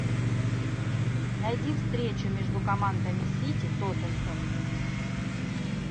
найди встречу между командами сити тоттенхэм